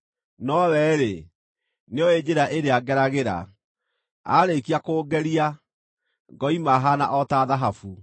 Nowe-rĩ, nĩooĩ njĩra ĩrĩa ngeragĩra; aarĩkia kũngeria, ngoima haana o ta thahabu.